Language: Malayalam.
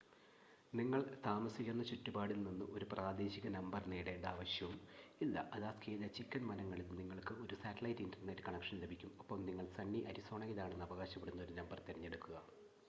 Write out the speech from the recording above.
നിങ്ങൾ താമസിക്കുന്ന ചുറ്റുപാടിൽ നിന്ന് ഒരു പ്രാദേശിക നമ്പർ നേടേണ്ട ആവശ്യവും ഇല്ല അലാസ്കയിലെ ചിക്കൻ വനങ്ങളിൽ നിങ്ങൾക്ക് ഒരു സാറ്റലൈറ്റ് ഇൻ്റർനെറ്റ് കണക്ഷൻ ലഭിക്കും ഒപ്പം നിങ്ങൾ സണ്ണി അരിസോണയിലാണെന്ന് അവകാശപ്പെടുന്ന ഒരു നമ്പർ തിരഞ്ഞെടുക്കുക